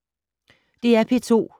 DR P2